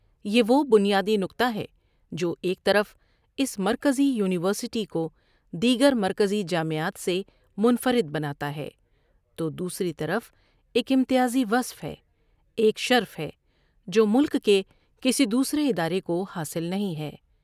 ایک امتیازی وصف ہے، ایک شرف ہے جو ملک کے دوسرے اِدارے کو حاصل نہیں ہے۔